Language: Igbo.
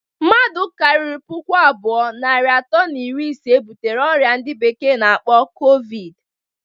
Mmadu kariri puku abụọ, narị atọ na iri ise butere oyia ndi bekee na-akpọ covid.